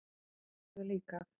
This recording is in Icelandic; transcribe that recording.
Og oft glöð líka.